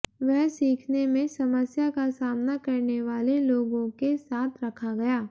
वह सीखने में समस्या का सामना करने वाले लोगों के साथ रखा गया